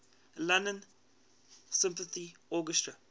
london symphony orchestra